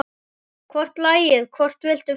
Hvort lagið, hvort viltu fá?